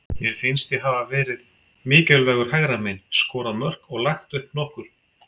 Mér finnst ég hafa verið mikilvægur hægra megin, skorað mörk og lagt upp nokkur.